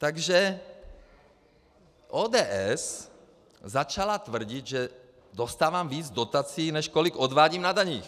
Takže ODS začala tvrdit, že dostávám víc dotací, než kolik odvádím na daních.